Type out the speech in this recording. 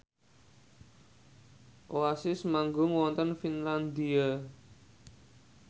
Oasis manggung wonten Finlandia